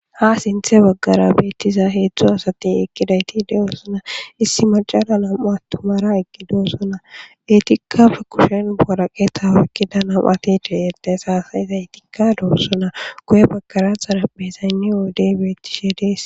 ha sinthe waggara beettiza heedzdzu asati ekkidayti de7osona issi macala nam7u attumara eqqidosona etikkafe kushen boraqeta warkida nam7atide edes haasayizaytikka doossona koye bakaraaxara bezaynni woodey beettishe dees